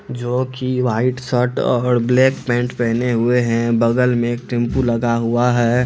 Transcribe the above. जो की white shirt और ब्लैक पेंट पहने हुए हैं बगल में एक टेमपु लगा हुआ है|